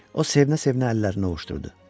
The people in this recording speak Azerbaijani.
O sevinə-sevinə əllərini ovuşdurdu.